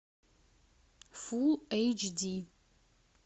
фулл эйч ди